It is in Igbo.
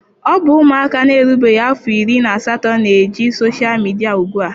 Ọ bụzi ụmụaka na-erubeghị afọ iri na asatọ na-eji soshal midia ugbua.